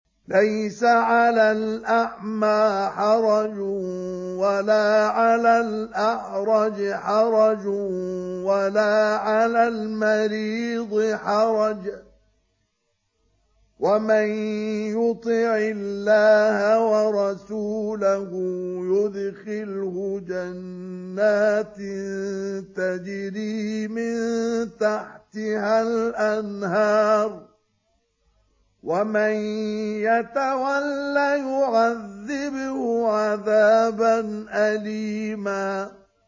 لَّيْسَ عَلَى الْأَعْمَىٰ حَرَجٌ وَلَا عَلَى الْأَعْرَجِ حَرَجٌ وَلَا عَلَى الْمَرِيضِ حَرَجٌ ۗ وَمَن يُطِعِ اللَّهَ وَرَسُولَهُ يُدْخِلْهُ جَنَّاتٍ تَجْرِي مِن تَحْتِهَا الْأَنْهَارُ ۖ وَمَن يَتَوَلَّ يُعَذِّبْهُ عَذَابًا أَلِيمًا